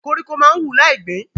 Koríko máa ń wù láì gbín.